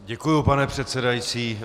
Děkuji, pane předsedající.